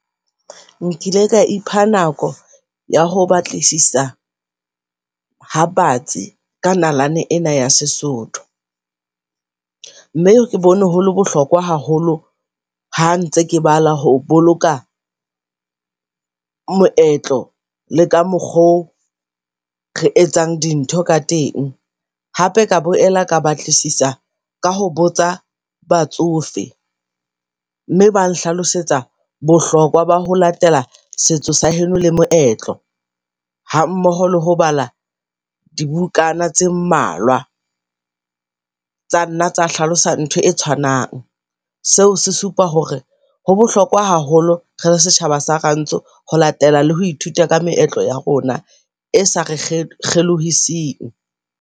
Nkile ka ipha nako ya ho batlisisa ha batsi ka nalane ena ya Sesotho. Mme ke bone holo bohlokwa haholo ha ntse ke bala, ho boloka moetlo le ka mokgo re etsang di ntho ka teng. Hape ka boela ka batlisisa ka ho botsa batsofe mme ba nhlalosetsa bohlokwa ba ho latela setso sa heno le moetlo hammoho le ho bala dibukana tse mmalwa. Tsa nna tsa hlalosa ntho e tshwanang seo, se supa hore ho bohlokwa haholo rele setjhaba sa rantsho ho latela le ho ithuta ka meetlo ya rona, e sa re kgelohiseng.